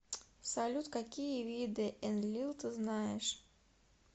салют какие виды энлил ты знаешь